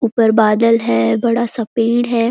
ऊपर बादल है बड़ा सा पेड़ है।